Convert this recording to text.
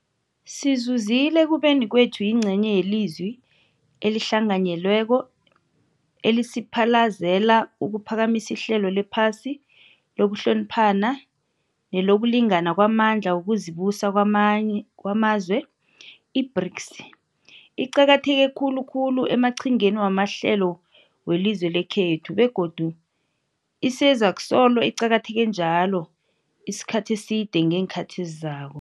Sizuzile ekubeni kwethu yingcenye yelizwi elihlanganyelweko elisiphalazela ukuphakamisa ihlelo lephasi lokuhloniphana nelokulingana kwamandla wokuzibusa kwamazwe. I-BRICS iqakatheke khulukhulu emaqhingeni wamahlelo welizwe lekhethu, begodu isezakusolo iqakatheke njalo isikhathi eside ngeenkhathi ezizako.